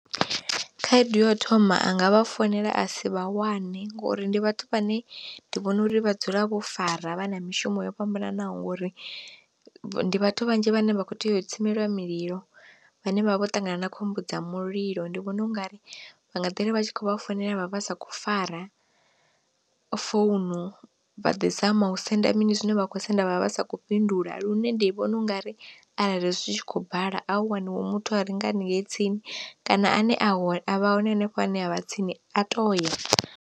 Khaedu ya u thoma anga vha founela a si vha wane ngori ndi vhathu vhane ndi vhona uri vha dzula vho fara vha na mishumo yo fhambananaho ngori ndi vhathu vhanzhi vhane vha kho tea u tsimeliwa mililo, vhane vhavha vho ṱangana na khombo dza mulilo ndi vhona ungari nga ḓiri vha tshi kho vha founela vha vha sa khou fara founu vha ḓi zama u senda mini zwine vha kho senda vha vha sa kho fhindula. Lune ndi vhona ungari arali zwi tshi khou bala a hu waniwe muthu a re nga haningei tsini kana ane a hone a vha hone hanefho hune a vha tsini a toya.